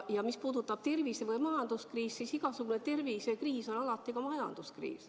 Ja mis puudutab tervise- või majanduskriisi, siis igasugune tervisekriis on alati ka majanduskriis.